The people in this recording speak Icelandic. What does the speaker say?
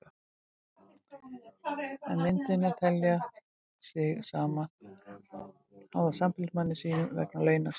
En myndi hún telja sig háða sambýlismanni sínum vegna launa sinna?